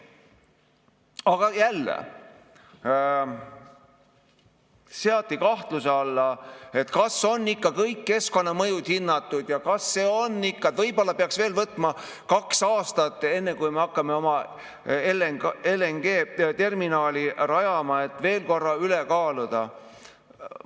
Aga jälle, seati kahtluse alla, kas on ikka kõik keskkonnamõjud hinnatud ja võib-olla peaks veel võtma kaks aastat, enne kui me hakkame oma LNG-terminali rajama, tuleks veel korra üle kaaluda.